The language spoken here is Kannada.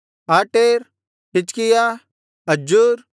ಆಟೇರ್ ಹಿಜ್ಕೀಯ ಅಜ್ಜೂರ್